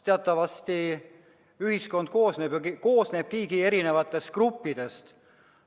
Teatavasti, ühiskond koosnebki erinevatest gruppidest.